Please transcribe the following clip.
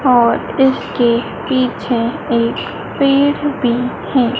और इसके पीछे एक पेड़ भी है।